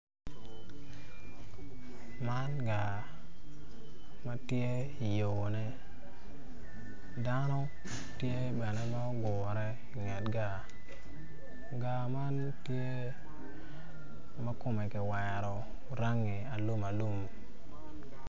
Man gar ma matye i yoone dano tye bene ma ogure i nget gar gar man makome kiwero rangi alum alum